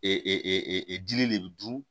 Ee dili le bɛ dun